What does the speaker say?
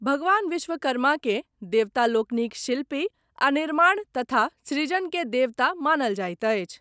भगवान विश्वकर्मा के देवता लोकनिक शिल्पी आ निर्माण तथा सृजन के देवता मानल जायत अछि।